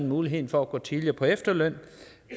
muligheden for at gå tidligere på efterløn